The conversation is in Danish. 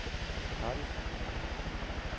Cardiff